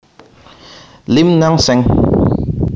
Lim Nang Seng